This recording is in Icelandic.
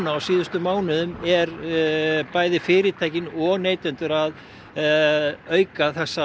á síðustu mánuðum eru bæði fyritæki og neytendur að auka þessa